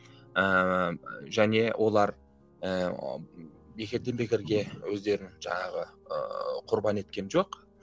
ыыы және олар ыыы бекерден бекерге өздерін жаңағы ыыы құрбан еткен жоқ